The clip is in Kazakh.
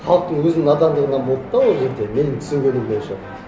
халықтың өзінің надандығынан болды да ол жерде менің түсінгенім бойынша